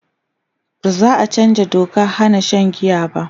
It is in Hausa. baza'a chanzaa Dokan Hana Shan giya ba